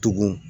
Tugun